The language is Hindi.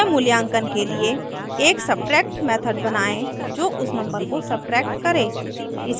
स्वमूल्यांकन के लिए एक सब्ट्रैक्ट method बनाएँ जो उस number को सब्ट्रैक्ट करें